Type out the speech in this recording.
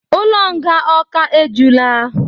Ụlọ nga Awka e jula